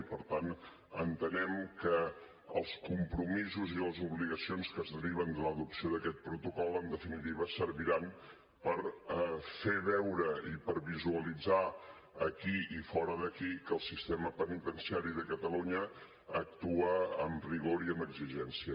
i per tant entenem que els compromisos i les obligacions que es deriven de l’adopció d’aquest protocol en definitiva serviran per fer veure i per visualitzar aquí i fora d’aquí que el sistema penitenciari de catalunya actua amb rigor i amb exigència